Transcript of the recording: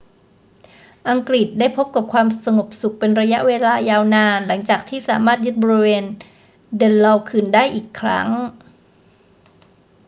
อังกฤษได้พบกับความสงบสุขเป็นระยะเวลายาวนานหลังจากที่สามารถยึดบริเวณเดนลอว์คืนได้อีกครั้ง